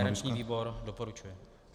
Garanční výbor doporučuje.